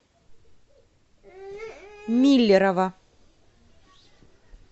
миллерово